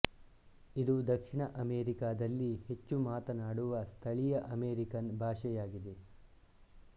ಇದು ದಕ್ಷಿಣ ಅಮೇರಿಕಾದಲ್ಲಿ ಹೆಚ್ಚು ಮಾತನಾಡುವ ಸ್ಥಳೀಯ ಅಮೆರಿಕನ್ ಭಾಷೆಯಾಗಿದೆ